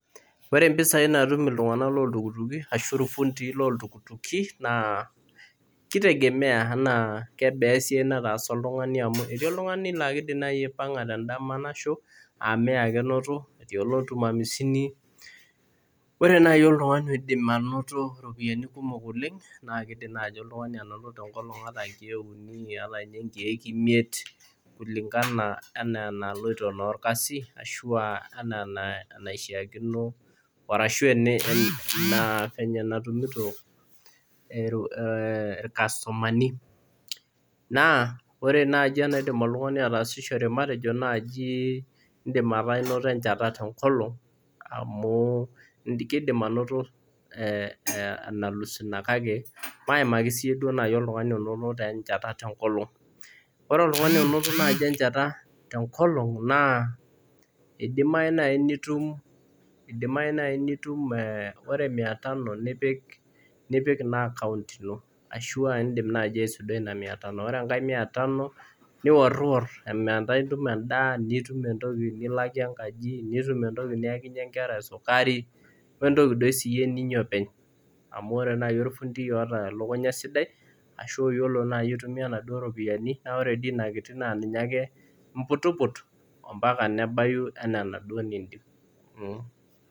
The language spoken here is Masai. Ore mpisai naatum iltunganak looltukituki ashu irfundii loltukituki naa kitegemea anaa kebaa esiai nataasa oltungani amu etii oltungani laa kaidim naaji apanga tendama nasho aa mia ake eunoto etii oltum hamsini ,ore naaji oltungani onoto ropiyiani kumok oleng naa kidimi naaji oltungani anoto nkeek are nkeek uni ana ninye nkeek imiet kulingana enaa enaloito naa orkasi arashu fenye enatumito irkastomani .naa ore naaji enaidim oltungani ataasishore matejo naaji indim anoto enchata tenkolong amu kidimi anoto enalus ina kake maimaki naaji oltungani itum enchata tenkolong ,ore oltungani itum enchata tenkolong naa idimayu naaji nitum ore mia tano nipik akaont ino ore enkae mia tano niworwior metaa itum endaa ,nitum entoki nilakie enkaji ,nitum entoki niyakinyie nkera esukari wentoki doi ninya siiyie openy amu ore naaji orfundi oota elukunya sidai ashu oyiolo naaji aitumiyia naduo ropiyiani naa ore enaduo kiti naa ninye ake imputiput mpaka nebaiki enaduo niyieu.